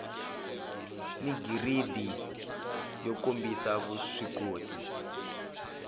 ni giridi yo kombisa vuswikoti